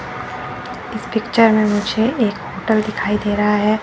इस पिक्चर में मुझे एक होटल दिखाई दे रहा है।